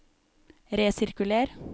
resirkuler